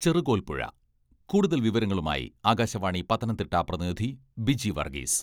ചെറുകോൽപ്പുഴ കൂടുതൽ വിവരങ്ങളുമായി ആകാശവാണി പത്തനംതിട്ട പ്രതിനിധി ബിജി വർഗീസ്..